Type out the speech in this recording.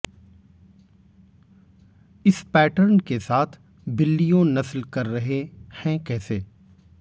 इस पैटर्न के साथ बिल्लियों नस्ल कर रहे हैं कैसे